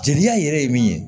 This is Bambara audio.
Jeliya yɛrɛ ye min ye